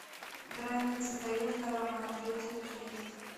граница таежный роман третья часть